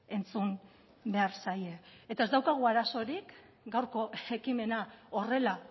entzun behar zaie eta ez daukagu arazorik gaurko ekimena horrela